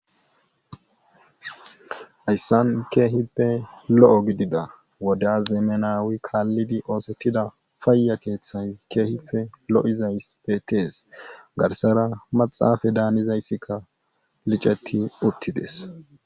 ayssan keehippe lo7o gidida woda zeemenawi kaallidi oosettida paayya keeththay keehife lo7izayppe tees garsara maxaafe daanizayssikka licetti uttides